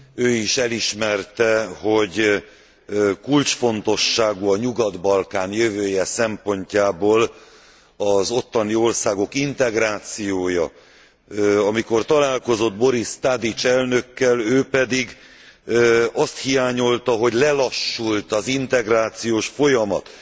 Ő is elismerte, hogy kulcsfontosságú a Nyugat Balkán jövője szempontjából az ottani országok integrációja. Amikor találkozott Boris Tadic elnökkel, ő pedig azt hiányolta, hogy lelassult az integrációs folyamat.